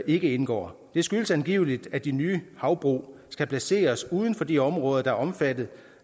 ikke indgår det skyldes angiveligt at de nye havbrug skal placeres uden for de områder der er omfattet